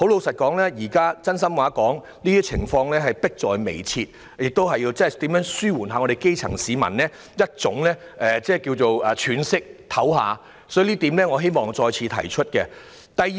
說句真心話，問題已經迫在眉睫，政府必須認真思考如何讓基層市民可以稍作喘息，這一點是我想再次提出的。